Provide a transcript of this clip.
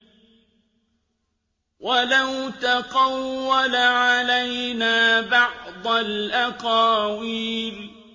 وَلَوْ تَقَوَّلَ عَلَيْنَا بَعْضَ الْأَقَاوِيلِ